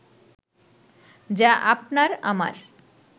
যা আপনার-আমার